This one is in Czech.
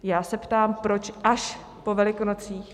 Já se ptám: proč až po Velikonocích?